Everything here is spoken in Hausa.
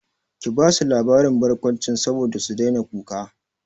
Ki basu labarin barkwanci saboda su daina kuka!